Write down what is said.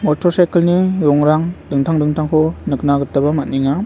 motor saikel ni rongrang dingtang dingtangko nikna gitaba man·enga.